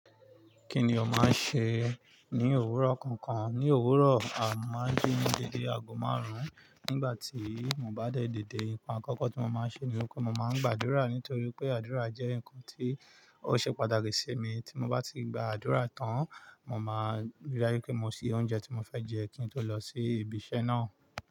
Kí ni o máa ń ṣe ní òwúrọ̀ kankan? Ní òwúrọ̀, a máa ń jí ní dédé ago márùn-ún. Nígbà tí mo bá dẹ dide nǹkan àkọ́kọ́ tí mo máa ń ṣe ni pé mo máa ń gbàdúrà nítorí pé àdúrà jẹ́ nǹkan tí ó ṣe pàtàkì sí mi. Tí mo bá ti gba àdúrà tán, mo máa rí i dájú pé mo sì oúnjẹ tí mo fẹ́ jẹ kí n tó lọ sí ibi iṣẹ́ náà.